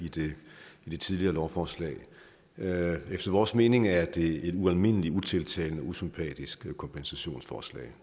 i det tidligere lovforslag efter vores mening er det et ualmindelig utiltalende usympatisk kompensationsforslag